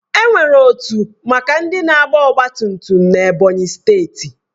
Enwere otu maka ndị na-agba ọgbatumtum n'Ebonyi steeti